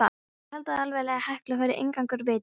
Þeir héldu allavega að Hekla væri inngangur vítis.